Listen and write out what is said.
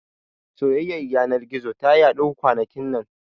Soyayyar yanar gizo ta yaɗu kwanakin nan